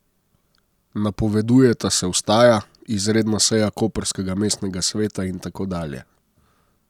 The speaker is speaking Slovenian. Napovedujeta se vstaja, izredna seja koprskega mestnega sveta in tako dalje?